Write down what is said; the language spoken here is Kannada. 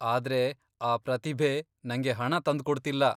ಆದ್ರೆ ಆ ಪ್ರತಿಭೆ ನಂಗೆ ಹಣ ತಂದ್ಕೊಡ್ತಿಲ್ಲ.